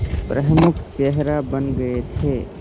प्रमुख चेहरा बन गए थे